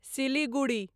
Siliguri